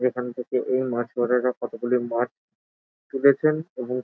এখন থেকে এই মাঝ বরাবর কতগুলি মাছ তুলেছেন এবং --